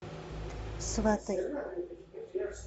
сваты